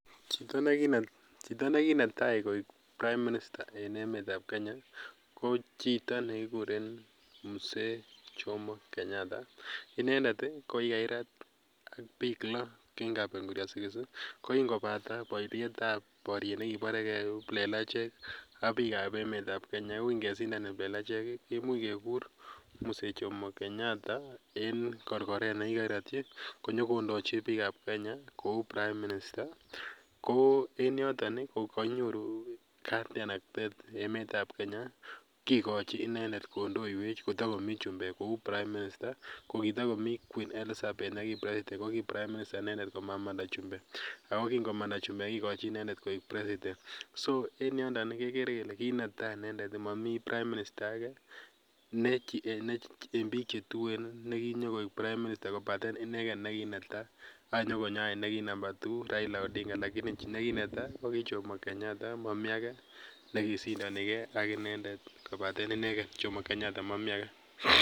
Chito nekinetai koek Prime minister en emeetab Kenya ko chito nekikuren Mzee jomo Kenyatta ih. Inendet ko kikakirat ak bik lo en kapenguria ih kokingobata barietab kiplelachek ih ak bikab emeetab Kenya ko kingesindan kiplelachek ih , kimuch kekur Mzee Jomo Kenyatta ih en korkoret nekikakiratyi konyokondoji bikab Kenya kouu p Prime minister ko en yoton ih kenyoru katiaknatet emetab Kenya kikochi inendet kondoieech kotakomi queen neki president inendet komamanda chumbek Ako kingomanda chumbek koek president so en yoton ih ko kinetai komami prime minister age ne en bik chetuen kobaten inegen nekinetai anyokonyo eny nekii namba two nekinetai ko ki jomo Kenyatta.